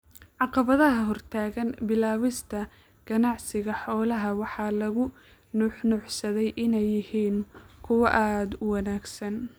Caqabadaha hortaagan bilaabista ganacsiga xoolaha waxa lagu nuuxnuuxsaday inay yihiin kuwo aad u wanaagsan.